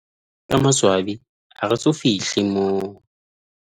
Ka maswabi, ha re so fihle moo.